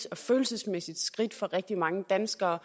og følelsesmæssigt skridt for rigtig mange danskere